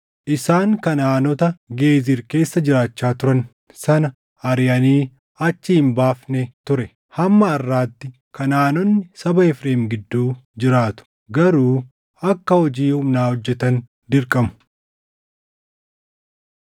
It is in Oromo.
Isaan Kanaʼaanota Geezir keessa jiraachaa turan sana ariʼanii achii hin baafne ture; hamma harʼaatti Kanaʼaanonni saba Efreem gidduu jiraatu; garuu akka hojii humnaa hojjetan dirqamu.